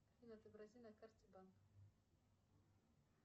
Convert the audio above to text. афина отобрази на карте банк